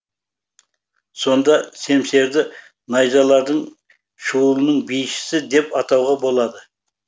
сонда семсерді найзалардың шуылының бишісі деп атауға болады